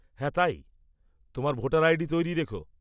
হ্যাঁ, তাই। তোমার ভোটার আইডি তৈরি রেখ।